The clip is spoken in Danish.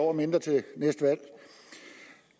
år mindre til næste valg